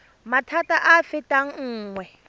maphata a a fetang nngwe